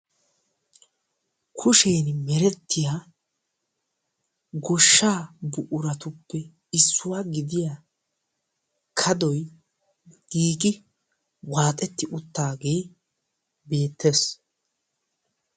kushiyani merettiya goshshaa buqurattuppe issuwa gidiyaa kadaoy giigi waaxetti utaagee beetees.